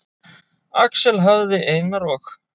Axel hafði Einar og